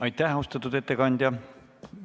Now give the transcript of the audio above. Aitäh, austatud ettekandja!